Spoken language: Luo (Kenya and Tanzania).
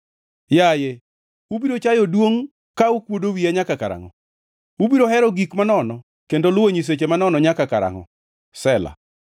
Yaye, ubiro chayo duongʼ ka ukuodo wiya nyaka karangʼo? Ubiro hero gik manono kendo luwo nyiseche manono nyaka karangʼo? Sela